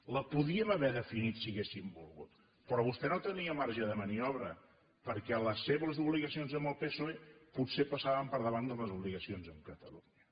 la podíem haver definit si haguéssim volgut però vostè no tenia marge de maniobra perquè les seves obligacions amb el psoe potser passaven per davant de les obligacions amb catalunya